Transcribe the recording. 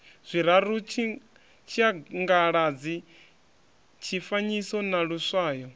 zwiraru tshiangaladzi tshifanyiso na luswayo